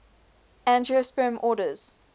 angiosperm orders